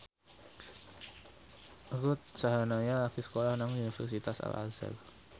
Ruth Sahanaya lagi sekolah nang Universitas Al Azhar